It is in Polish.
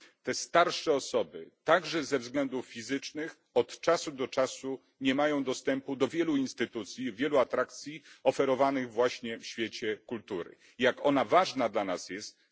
Te starsze osoby, także ze względów fizycznych, od czasu do czasu nie mają dostępu do wielu instytucji, wielu atrakcji oferowanych właśnie w świecie kultury. Wszyscy wiemy, jak ważna jest dla nas kultura.